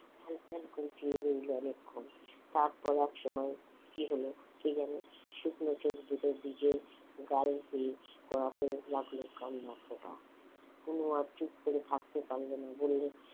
ফ্যাল ফ্যাল করে চেয়ে রইল অনেকক্ষণ তারপর একসময় কি হলো কে জানে শুকনো চোখ দুটো ভিজে গাল বেয়ে গড়াতে লাগলো কান্নার ফোঁটা অণু আর চুপ করে থাকতে পারলো না বলল